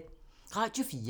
Radio 4